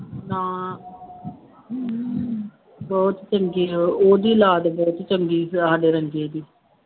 ਹਾਂ ਹੁੂੰ ਬਹੁਤ ਚੰਗੇ ਹੈ, ਉਹ ਉਹਦੀ ਔਲਾਦ ਬਹੁਤ ਚੰਗੀ ਹੈ ਸਾਡੇ ਰੰਗੇ ਦੀ,